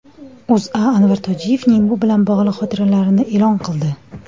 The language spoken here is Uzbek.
O‘zA Anvar Tojiyevning bu bilan bog‘liq xotiralarini e’lon qildi .